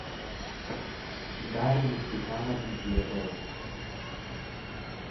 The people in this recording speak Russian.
дарьи степановны глебовой